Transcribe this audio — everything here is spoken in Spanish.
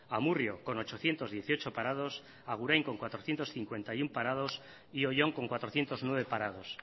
amurrio con ochocientos dieciocho parados agurain con cuatrocientos cincuenta y uno parado y oion con cuatrocientos nueve parados